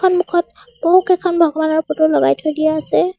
সন্মুখত বহুকেইখন ভগবানৰ ফটো লগাই থৈ দিয়া আছে।